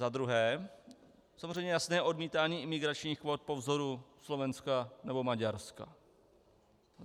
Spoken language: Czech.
Za druhé samozřejmě jasné odmítání imigračních kvót po vzoru Slovenska nebo Maďarska.